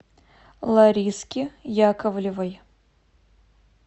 лариски яковлевой